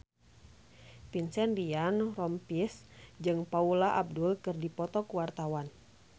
Vincent Ryan Rompies jeung Paula Abdul keur dipoto ku wartawan